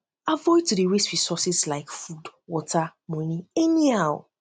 avoid to dey waste resources like food water um money anyhow